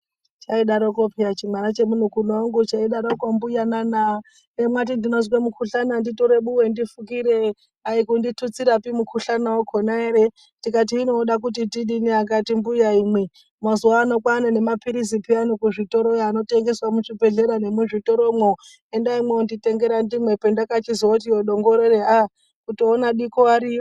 Chaidareko pheyani chimwana chemunin'ina wangu cheidareko mbuyana na hemwati munozwa mukhuhlani nditore buwe ndifukire, aikunditutsirapi mukhuhlani wakhona ere. Ndikati hino unoda tidini ,akati mbuya imwi-na, mazuwa ano kwane mapirizi pheyani kuzvitoro yo anotengeswa muzvibhedhleya nemu zvitoromwo endai mwonditengera ndimwe. Pandakachozoti dongorere aaa kutoona diko ariyo.